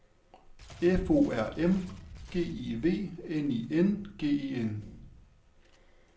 F O R M G I V N I N G E N